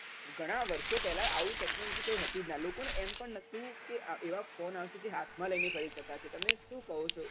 ગણા વર્ષો પહેલા આવી technology હતી જ નાં લોકો ને એમ પણ નતુ આ~એવા phone આવે જે હાથમાં લઈને ફરી શકાશે